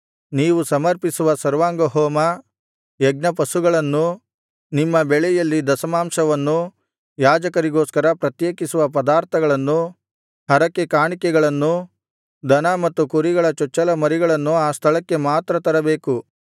ನೀವು ಸಮರ್ಪಿಸುವ ಸರ್ವಾಂಗಹೋಮ ಯಜ್ಞಪಶುಗಳನ್ನೂ ನಿಮ್ಮ ಬೆಳೆಯಲ್ಲಿ ದಶಮಾಂಶವನ್ನೂ ಯಾಜಕರಿಗೋಸ್ಕರ ಪ್ರತ್ಯೇಕಿಸುವ ಪದಾರ್ಥಗಳನ್ನೂ ಹರಕೆ ಕಾಣಿಕೆಗಳನ್ನೂ ದನ ಮತ್ತು ಕುರಿಗಳ ಚೊಚ್ಚಲ ಮರಿಗಳನ್ನೂ ಆ ಸ್ಥಳಕ್ಕೆ ಮಾತ್ರ ತರಬೇಕು